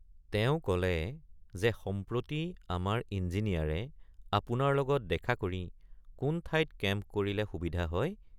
তেওঁ কলে যে সম্প্ৰতি আমাৰ ইঞ্জিনিয়াৰে আপোনাৰ লগত দেখা কৰি কোন ঠাইত কেম্প কৰিলে সুবিধা হয়।